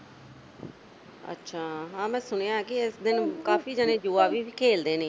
ਅੱਛਾ ਹਾਂ ਮੈਂ ਸੁਣਿਆ ਕਿ ਇਸ ਦਿਨ ਕਾਫੀ ਜਣੇ ਜੂਆ ਵੀ ਖੇਲਦੇ ਨੇ।